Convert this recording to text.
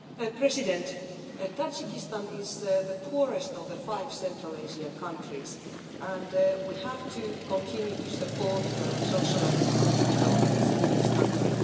Mr President, Tajikistan is the poorest of the five central Asian countries and we have to continue to support social and economic developments in this country